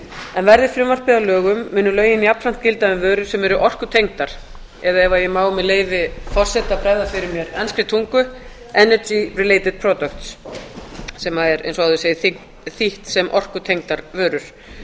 en verði frumvarpið að lögum munu lögin jafnframt gilda um vörur sem eru orkutengdar eða ef ég má með leyfi forseta bregða fyrir mér enskri tungu energy the related products sem er eins og áður segir þýtt sem orkutengdar vörur